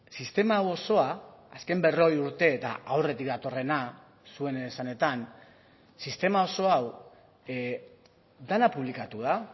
sistema hau osoa azken berrogei urte eta aurretik datorrena zuen esanetan sistema oso hau dena publikatu da